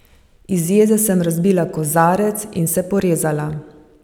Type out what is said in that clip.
Iz jeze sem razbila kozarec in se porezala.